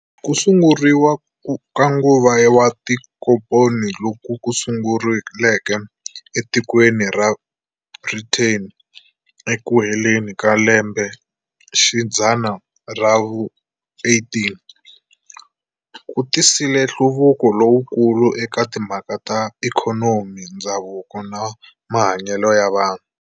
Kusunguriwa ka nguva wa tinkomponi, luku sunguleke etikweni ra Brithani eku heleni ka lembexidzana ra vu 18, kutisile nhluvuko lowukulu eka timhaka ta ikhonomi, ndzhavuko, na mahanyele ya vanhu.